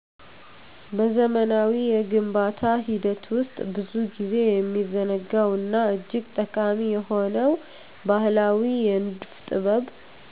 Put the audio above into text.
በዘመናዊው የግንባታ ሂደት ውስጥ ብዙ ጊዜ የሚዘነጋው እና እጅግ ጠቃሚ የሆነው ባህላዊ የንድፍ ጥበብ